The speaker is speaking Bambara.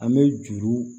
An bɛ juru